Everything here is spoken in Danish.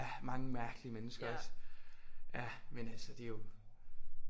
Ja mange mærkelige mennesker også ja men altså det er jo